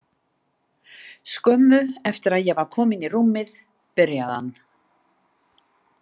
Skömmu eftir að ég var kominn í rúmið byrjaði hann.